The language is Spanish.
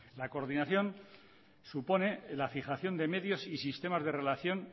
la coordinación supone la fijación de medios y sistemas de relación